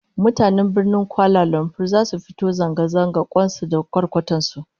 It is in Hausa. Mutanen Birnin Kuala Lumpur zasu fito zanga zanga kwan su da kwarkwatar su